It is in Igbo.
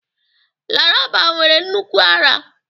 Laraba nwere nnukwu ara